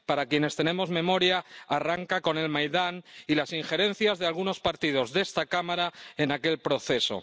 para quienes tenemos memoria, arranca con el Maidán y las injerencias de algunos partidos de esta Cámara en aquel proceso.